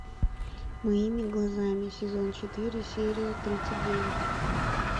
моими глазами сезон четыре серия тридцать девять